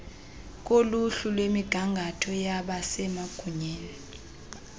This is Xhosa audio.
koluhlu lwemigangatho yabasemagunyeni